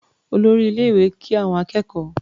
Olórí ilé-ìwé kí àwọn akẹ́kọ̀ọ́.